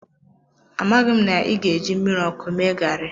amaghi na i ga-eji mmiri ọkụ mee garri.